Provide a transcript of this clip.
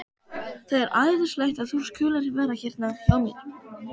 Það er æðislegt að þú skulir vera hérna hjá mér.